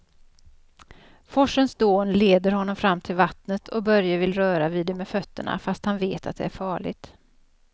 Forsens dån leder honom fram till vattnet och Börje vill röra vid det med fötterna, fast han vet att det är farligt.